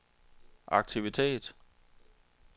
aktivitet